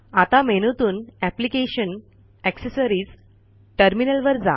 आता मेनूतून application gtaccessories गॅटरमिनल वर जा